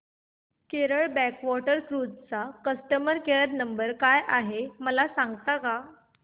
Kerala backwater cruise चा customer care number काय आहे मला सांगता का